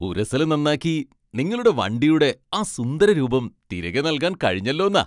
ഉരസൽ നന്നാക്കി നിങ്ങളുടെ വണ്ടിയുടെ ആ സുന്ദര രൂപം തിരികെ നൽകാൻ കഴിഞ്ഞല്ലോന്നാ